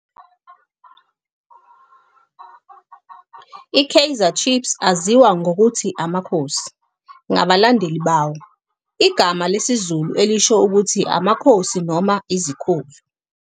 I-Kaizer Chiefs aziwa ngokuthi "Amakhosi" ngabalandeli bawo, igama lesiZulu elisho ukuthi "amakhosi" noma "izikhulu".